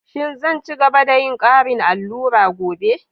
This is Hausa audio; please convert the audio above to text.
Shin zan ci gaba da yin ƙarin allura gobe?